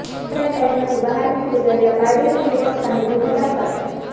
home ક્વોરન્ટાઇનમાંથી બહાર નીકળી ગયેલા પારડીના યુવક સામે ગુનો દાખલ